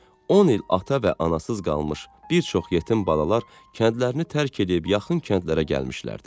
On il ata və anasız qalmış bir çox yetim balalar kəndlərini tərk edib yaxın kəndlərə gəlmişdilər.